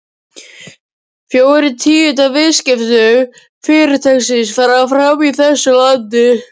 Fjórir tíundu af viðskiptum Fyrirtækisins fara fram í þessu landi.